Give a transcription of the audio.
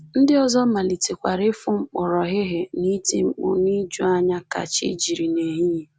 Ndị ọzọ malitekwara ịfụ mkpọrọhịhị na iti mkpu n’ijuanya ka chi jiri n’ehihie